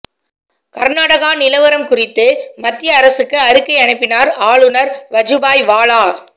கர்நாடகா நிலவரம் குறித்து மத்திய அரசுக்கு அறிக்கை அனுப்பினார் ஆளுநர் வஜூபாய் வாலா